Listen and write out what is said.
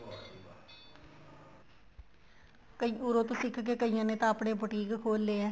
ਉੱਰੋ ਤੋ ਸਿੱਖਕੇ ਕਈਆਂ ਨੇ ਤਾਂ ਆਪਣੇ ਬੂਟੀਕ ਖੋਲੇ ਹੋਏ ਲਏ ਹੈ